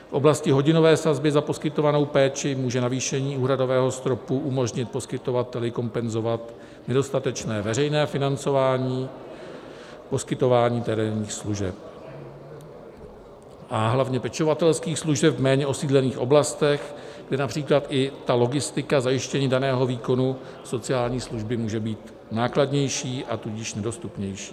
V oblasti hodinové sazby za poskytovanou péči může navýšení úhradového stropu umožnit poskytovateli kompenzovat nedostatečné veřejné financování poskytování terénních služeb a hlavně pečovatelských služeb v méně osídlených oblastech, kde například i ta logistika zajištění daného výkonu sociální služby může být nákladnější, a tudíž nedostupnější.